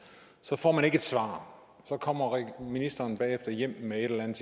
så får man ikke et svar så kommer ministeren bagefter hjem med et eller andet